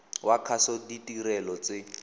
wa kgaso ditirelo tse